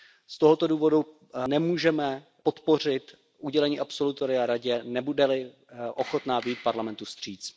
Z tohoto důvodu nemůžeme podpořit udělení absolutoria Radě, nebude li ochotna vyjít Parlamentu vstříc.